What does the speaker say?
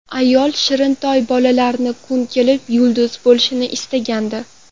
Ayol shirintoy bolalarining kun kelib yulduz bo‘lishini istagandi.